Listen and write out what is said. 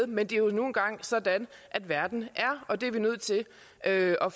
men det er nu engang sådan verden er og